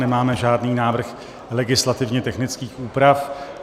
Nemáme žádný návrh legislativně technických úprav.